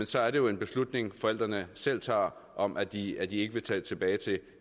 så er det jo en beslutning forældrene selv tager om at de at de ikke vil tage tilbage til